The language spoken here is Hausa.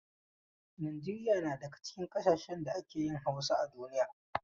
Nijeriya na daga cikin ƙasashen da ake yin Hausa a duniya.